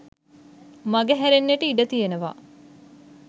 මගහැරෙන්නට ඉඩ තියෙනවා